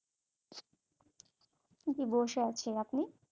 জী বসে আছি, আপনি?